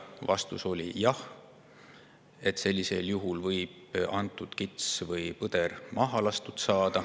Vastus oli jah, sellisel juhul võib selle kitse või põdra maha lasta.